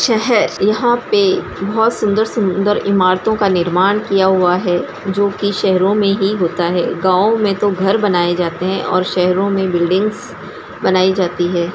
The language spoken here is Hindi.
शहर यहाँ पे बहुत सुंदर-सुंदर इमारतों का निर्माण किया हुआ है जो की शहरो मे ही होता है गांवों मे तो घर बनाये जाते है और शहरों मे बल्डिंगस बनाई जाती है।